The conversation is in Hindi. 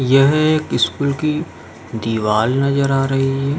यह एक स्कूल की दीवाल नजर आ रही है।